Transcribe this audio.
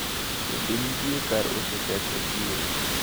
Bende nitiere kar uso chak e chiro.